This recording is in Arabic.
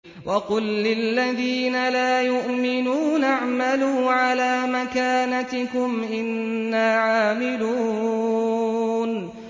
وَقُل لِّلَّذِينَ لَا يُؤْمِنُونَ اعْمَلُوا عَلَىٰ مَكَانَتِكُمْ إِنَّا عَامِلُونَ